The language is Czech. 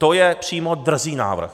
To je přímo drzý návrh.